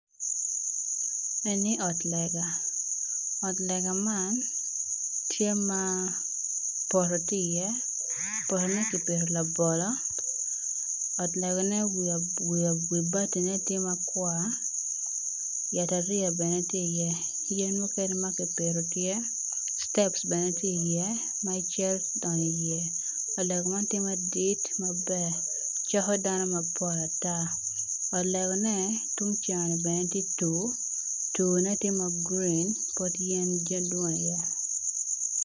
Eni ot lega ot lega man tye ma poto tye iye kipito iye labolo ot legane wibatine tye makwar yatariya tye i ye citep bene tye iye me donyo iye.